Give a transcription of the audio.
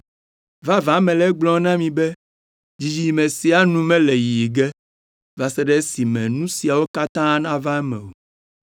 Vavã mele egblɔm na mi be, dzidzime sia nu mele yiyi ge, va se ɖe esime nu siawo katã nava eme o.